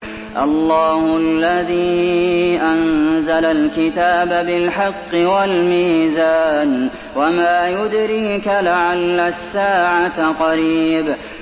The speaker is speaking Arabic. اللَّهُ الَّذِي أَنزَلَ الْكِتَابَ بِالْحَقِّ وَالْمِيزَانَ ۗ وَمَا يُدْرِيكَ لَعَلَّ السَّاعَةَ قَرِيبٌ